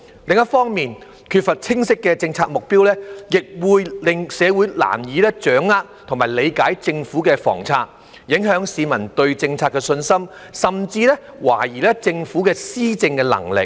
另一方面，缺乏清晰的政策目標亦會令社會難以掌握及理解政府的房策，影響市民對政策的信心，甚至懷疑政府的施政能力。